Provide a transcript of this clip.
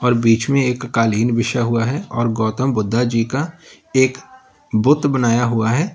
बीच में एक कालीन बिछा हुआ है और गौतम बुद्धा जी का एक बुत बनाया हुआ है।